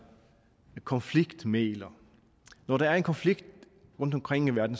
konfliktmægler når der er konflikter rundtomkring i verden